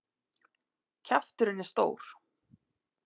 Kjafturinn er stór.